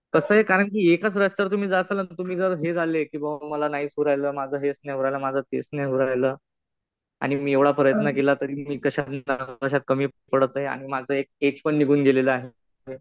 कसं आहे कारण कि एकाच रस्त्यावर तुम्ही जाताल आणि तुम्ही जर हे झाले कि बुवा मला नाहीच होऊ राहायल. माझं हेच नाही होऊ राहायल. माझं तेच नाही होऊ राहायल. आणि मी एवढा प्रयत्न केला तरी कशात कमी पडत आहे? आणि माझं एज पण निघून गेलेलं आहे.